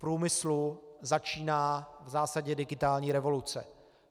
V průmyslu začíná v zásadě digitální revoluce.